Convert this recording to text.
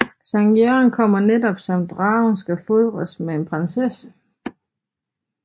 Sankt Jørgen kommer netop som dragen skal fodres med en prinsesse